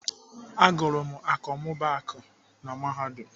Agụrụ m akọmmụbaaku na Mahadum.